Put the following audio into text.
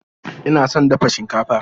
Ina son dafa shinkafa.